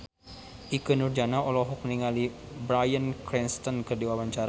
Ikke Nurjanah olohok ningali Bryan Cranston keur diwawancara